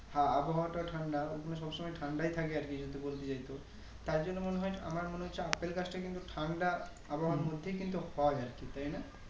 আবহাওয়া টা ঠান্ডা ওই খানে সব সময় ঠান্ডায় থাকে আরকি যদি বলতে যাই তো তাই জন্য মনে হয় আমার মনে হচ্ছে আপেল গাছটা কিন্তু ঠান্ডা মধ্যেই কিন্তু হয় আরকি তাই না